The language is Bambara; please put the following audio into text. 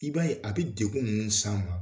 I b'a a bi degun munnu s'an ma